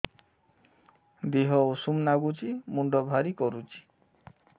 ଦିହ ଉଷୁମ ନାଗୁଚି ମୁଣ୍ଡ ଭାରି କରୁଚି